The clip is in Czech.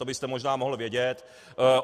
To byste možná mohl vědět.